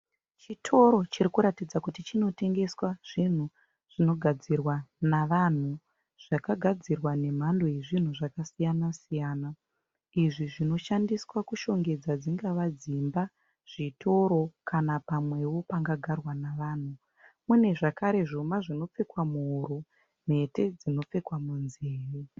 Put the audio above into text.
Chitoro chinoratidza kuti chinotengeswa zvinhu zvinogadzirwa navanhu. Zvakagadzirwa nemhando yezvinhu zvakasiyana siyana, izvi zvinoshandiswa kushongedza dzingava dzimba, zvitoro kana pamwewo panga garwa navanhu. Mune zvakare zvuma zvinopfekwa muhuro, mhete dzinopfekwa munzeve.